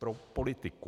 Pro politiku.